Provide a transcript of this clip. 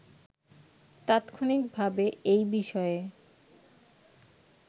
তাৎক্ষণিকভাবে এই বিষয়ে